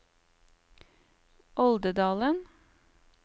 Oldedalen